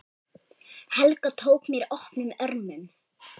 Helga tók mér opnum örmum.